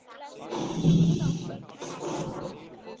Það er misskilningur greip Stefán þrjóskulega frammi fyrir honum.